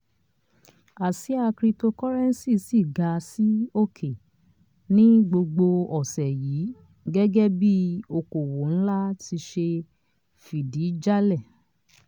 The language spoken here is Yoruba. àsía cryptocurrency ti ga sí òkè ní gbogbo ọ̀sẹ̀ yìí gẹ́gẹ́ bí i okòwò nlá ti ṣe fìdí jálẹ̀.